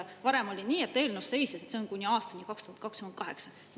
Varem oli nii, et eelnõus seisis, see on kuni aastani 2028.